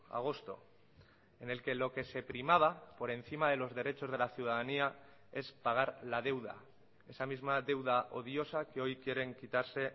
agosto en el que lo que se primaba por encima de los derechos de la ciudadanía es pagar la deuda esa misma deuda odiosa que hoy quieren quitarse